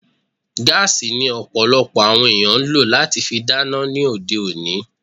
Gaasi ni Ọ̀pọ̀lọpọ̀ àwọn ènìyàn ń lọ láti fi dáná lóde òní